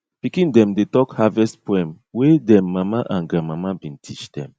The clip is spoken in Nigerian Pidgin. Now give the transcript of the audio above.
pikin dem dey talk harvest poem wey dem mama and grandmama bin teach dem